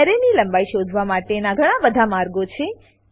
એરેની લંબાઈ શોધવા માટેનાં ઘણા બધા માર્ગો છે